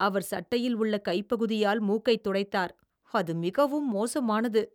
அவர் சட்டையில் உள்ள கைப் பகுதியால் மூக்கைத் துடைத்தார், அது மிகவும் மோசமானது.